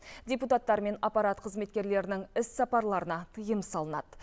депутаттар мен аппарат қызметкерлерінің іссапарларына тыйым салынады